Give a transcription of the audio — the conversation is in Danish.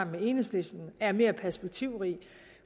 med enhedslisten er mere perspektivrig